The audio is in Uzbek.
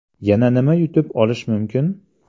Yana nima yutib olish mumkin?